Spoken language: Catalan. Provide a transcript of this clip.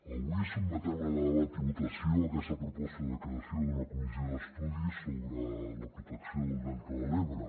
avui sotmetem a debat i votació aquesta proposta de creació d’una comissió d’estudi sobre la protecció del delta de l’ebre